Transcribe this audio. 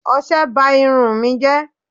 Ọṣẹ ba irun ù mi jẹ́